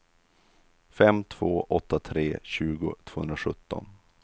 fem två åtta tre tjugo tvåhundrasjutton